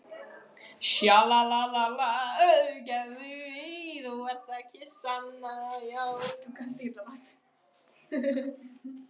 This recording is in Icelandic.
Og þær sugu sig fastar í nára og undir kverk.